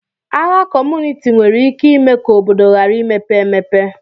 Agha kọmunịti nwere ike ime ka obodo ghara imepe emepe